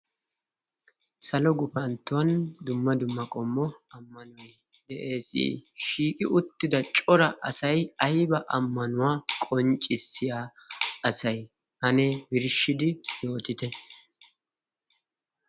Salo gufantton dumma dumma qommo ammanoy de"es. shiiqi uttidacora asay ayba ammanuwaa qonccisiyaa asee ane qonccisidi yootitte?